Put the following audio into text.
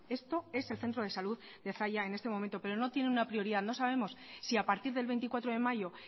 esto es el centro de salud de zalla en este momento pero no tiene una prioridad no sabemos si a partir del veinticuatro de mayo